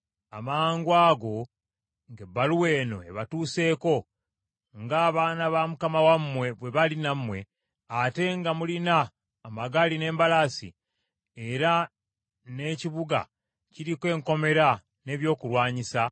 “Amangwago ng’ebbaluwa eno ebatuuseeko, ng’abaana ba mukama wammwe bwe bali nammwe, ate nga mulina amagaali n’embalaasi, era n’ekibuga kiriko enkomera n’ebyokulwanyisa,